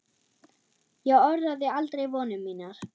Ég orðaði aldrei vonir mínar.